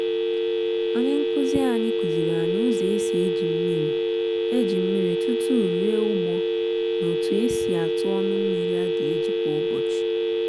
onye nkuzi anyị kụziri anyị ụzọ esi eji mmiri eji mmiri tụtụ rie ugbo na otu esi atụ ọnụ mmiri a ga-eji kwa ụbọchị.